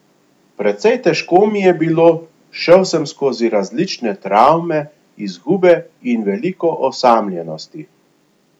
Precej težko mi je bilo, šel sem skozi različne travme, izgube in veliko osamljenosti.